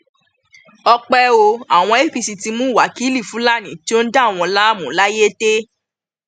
ọpẹ o àwọn apc ti mú wákilì fúlàní tó ń dà wọn láàmú layétẹ